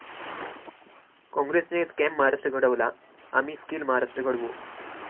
काँग्रेसने स्कॅम महाराष्ट्र घडवला आम्ही स्कील महाराष्ट्र घडवू'